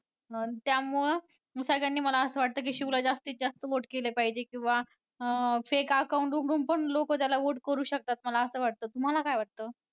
अं त्यामुळं सगळ्यांनी मला असं वाटतं की शिवला जास्ती जास्त vote केले पाहिजे किंवा अं fake account उघडून पण लोकं त्याला vote करू शकतात असं मला वाटतं तुम्हाला काय वाटतं?